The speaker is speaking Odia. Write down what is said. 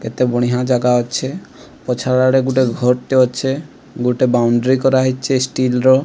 କେତେ ବଢ଼ିଆ ଜାଗା ଅଛି ପଛଆଡ଼େ ଗୁଟେ ଘର୍ ଟେ ଅଛେ ଗୋଟେ ବାଉଡ୍ରି କରାହେଇଚେ ଷ୍ଟଲ୍ ର।